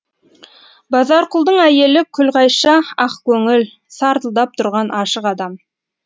базарқұлдың әйелі күлғайша ақ көңіл сартылдап тұрған ашық адам